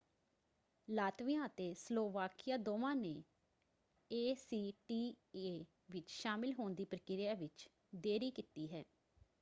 Latvia ਅਤੇ Slovakia ਦੋਵਾਂ ਨੇ ਏਸੀਟੀਏ ਵਿੱਚ ਸ਼ਾਮਲ ਹੋਣ ਦੀ ਪ੍ਰਕਿਰਿਆ ਵਿੱਚ ਦੇਰੀ ਕੀਤੀ ਹੈ।